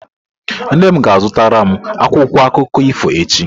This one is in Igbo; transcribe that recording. Nne m ga-azụtara m akwụkwọ akụkọ ifo echi.